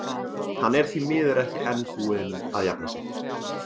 Hann er því miður ekki enn búinn að jafna sig.